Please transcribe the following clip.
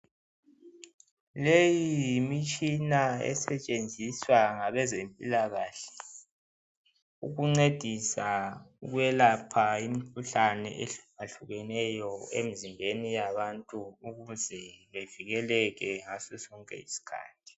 Leyi yimitshina esetshenziswa ngabezempilakahle ukuncedisa ukwelapha imikhuhlane ehluka hlukeneyo emzimbeni yabantu ukuze bevikeleke ngasosonke isikhathi.